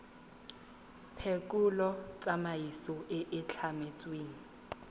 phekolo tsamaiso e e tlametsweng